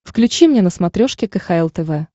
включи мне на смотрешке кхл тв